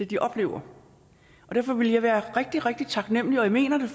de oplever og derfor ville jeg være rigtig rigtig taknemmelig og jeg mener det